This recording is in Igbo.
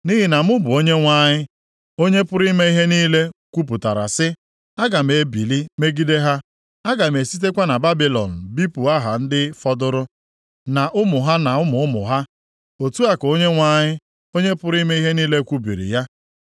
Nʼihi na mụ bụ Onyenwe anyị, Onye pụrụ ime ihe niile kwupụtara sị, “Aga m ebili megide ha; aga m esitekwa na Babilọn bipụ aha ndị fọdụrụ, na ụmụ ha na ụmụ ụmụ ha. Otu a ka Onyenwe anyị, Onye pụrụ ime ihe niile kwubiri ya.